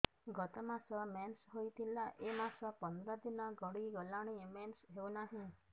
ଗତ ମାସ ମେନ୍ସ ହେଇଥିଲା ଏ ମାସ ପନ୍ଦର ଦିନ ଗଡିଗଲାଣି ମେନ୍ସ ହେଉନାହିଁ